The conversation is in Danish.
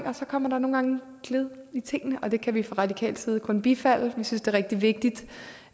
og så kommer der nogle gange skred i tingene og det kan vi fra radikal side kun bifalde vi synes det er rigtig vigtigt